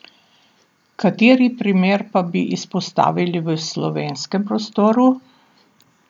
Kateri primer pa bi izpostavili v slovenskem prostoru?